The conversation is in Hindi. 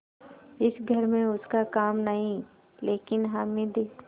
इस घर में उसका काम नहीं लेकिन हामिद